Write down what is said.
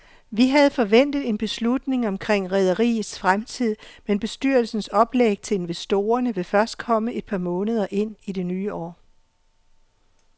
Vi havde forventet en beslutning omkring rederiets fremtid, men bestyrelsens oplæg til investorerne vil først komme et par måneder ind i det nye år.